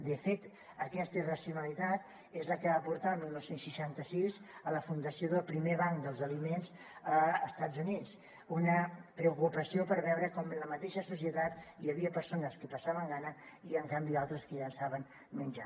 de fet aquesta irracionalitat és la que va portar el dinou seixanta sis a la fundació del primer banc dels aliments a estats units una preocupació per veure com en la mateixa societat hi havia persones que passaven gana i en canvi altres que llençaven menjar